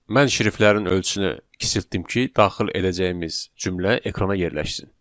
Mən şriftlərin ölçünü kiçiltdim ki, daxil edəcəyimiz cümlə ekrana yerləşsin.